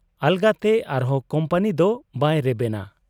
ᱟᱞᱟᱜᱽᱛᱮ ᱟᱨᱦᱚᱸ ᱠᱩᱢᱯᱟᱹᱱᱤ ᱫᱚ ᱵᱟᱭ ᱨᱮᱵᱮᱱᱟ ᱾